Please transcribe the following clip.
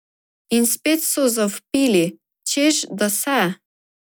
In spet so zavpili, češ da se.